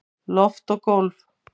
Loft og gólf